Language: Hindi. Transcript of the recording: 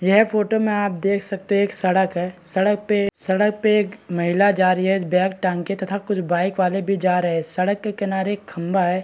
यह फोटो में आप देख सकते हैं एक सड़क है सड़क पे सड़क पे एक महिला जा रही है बैग टांग के तथा कुछ बाइक वाले भी जा रहे हैं सड़क के किनारे एक खंबा है।